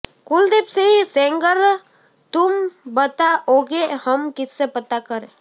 કુલદીપસિંહ સેંગરઃ તુમ બતાઓગે હમ કિસસે પતા કરે